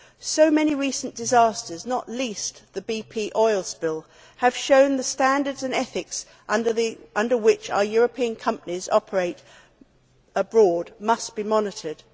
So many recent disasters not least the BP oil spill have shown that the standards and ethics under which our European companies operate abroad must be monitored.